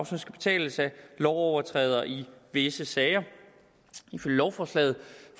som skal betales af lovovertrædere i visse sager ifølge lovforslaget